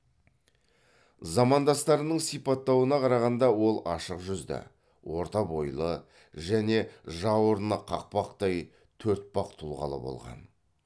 замандастарының сипаттауына қарағанда ол ашық жүзді орта бойлы және жауырыны қақпақтай төртпақ тұлғалы болған